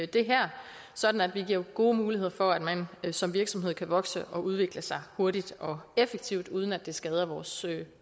det her sådan at vi giver gode muligheder for at man som virksomhed kan vokse og udvikle sig hurtigt og effektivt uden at det skader vores